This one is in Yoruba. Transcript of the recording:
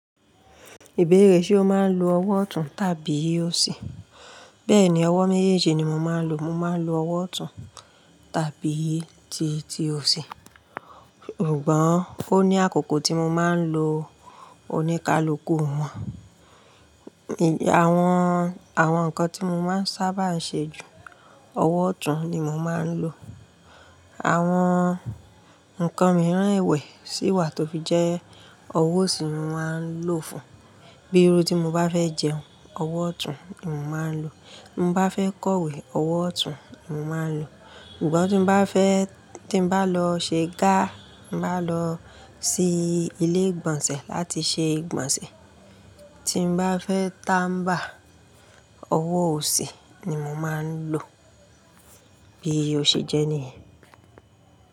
Ìbéèrè ṣe o máa ń lo ọwọ́ ọ̀tún tàbí òsì? Bẹ́ẹ̀ni, ọwọ́ méjèèjì ni mo máa ń lo. Mo máa ń lo ọwọ́ ọ̀tún tàbí ti, ti òsì. Ṣùgbọ́n ó ní àkókò tí mo máa ń lo oníkálukú wọn. Àwọn, àwọn nǹkan tí mo máa ń sábà ṣe ju, ọwọ́ ọ̀tún ni mo máa ń lò. Àwọn nǹkan mìíràn èwè sí wà tó fi jẹ́ ọwọ́ òsì mo máa ń lò fún. Bí irú tí mo bá fẹ́ jẹun, ọwọ́ ọ̀tún ni mo máa ń lò. Mo bá fẹ́ kọ̀wé, ọwọ́ ọ̀tún mo máa ń lò. Ṣùgbọ́n tí n bá fẹ́, tí n bá lọ ṣe gá, bá lọ sí ilé ìgbọ̀nsẹ̀ láti ṣe ìgbọ̀nsẹ̀, tí n bá fẹ́ táḿbà, ọwọ́ òsì ni mo máa ń lò. Bí o ṣe jẹ́ ní yẹn.